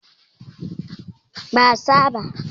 Ban sani ba.